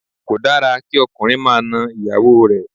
Kò dára kí ọkùnrin máa na ìyàwó rẹ̀